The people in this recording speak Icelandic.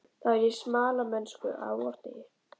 Það var í smalamennsku á vordegi.